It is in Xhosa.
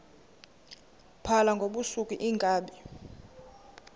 phala ngobusuku iinkabi